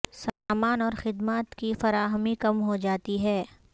سامان اور خدمات کی فراہمی کم ہو جاتی ہے